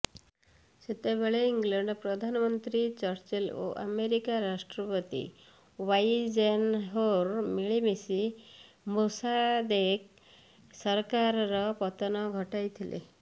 ସେତେବେଳେ ଇଂଲଣ୍ଡ ପ୍ରଧାନମନ୍ତ୍ରୀ ଚର୍ଚ୍ଚିଲ ଓ ଆମେରିକା ରାଷ୍ଟ୍ରପତି ୱାଇଜେନହୋର୍ ମିଳିମିଶି ମୋସାଦେକ୍ ସରକାରର ପତନ ଘଟାଇଥିଲେ